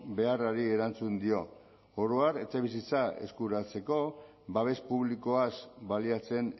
beharrari erantzun dio oro har etxebizitza eskuratzeko babes publikoaz baliatzen